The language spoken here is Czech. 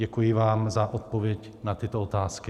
Děkuji vám za odpověď na tyto otázky.